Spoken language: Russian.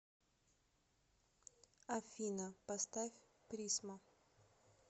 афина поставь призмо